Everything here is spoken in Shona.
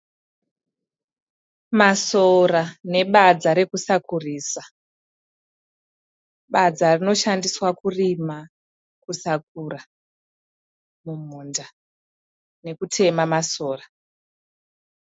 Masora nebadza rekusakurisa. Badza rinoshandiswa kurima kusakura mumunda nekutema masora.